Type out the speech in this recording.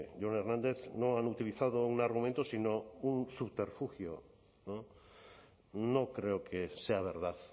jon hernández no han utilizado un argumento sino un subterfugio no creo que sea verdad